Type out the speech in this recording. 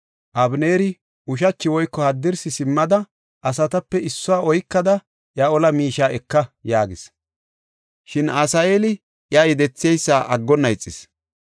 Abeneeri, “Ushachi woyko haddirsi simmada, asatape issuwa oykada iya ola miishiya eka” yaagis. Shin Asaheeli iya yedetheysa aggonna ixis.